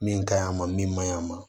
Min ka ɲi a ma min man ɲi a ma